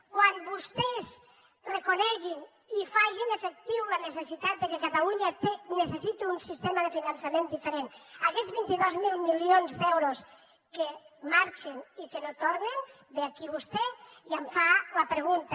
quan vostès reconeguin i facin efectiva la necessitat que catalunya necessita un sistema de finançament diferent aquests vint dos mil milions d’euros que marxen i que no tornen ve aquí vostè i em fa la pregunta